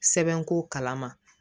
Sɛbɛn ko kalama